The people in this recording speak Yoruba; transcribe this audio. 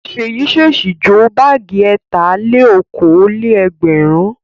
Ṣèyí ṣèṣì jó báágì ẹ̀tà-lé-okòó-lé-ẹgbẹ̀rún.